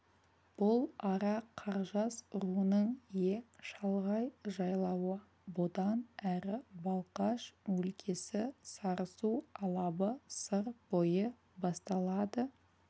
бұл ара қаржас руының ең шалғай жайлауы бұдан әрі балқаш өлкесі сарысу алабы сыр бойы басталады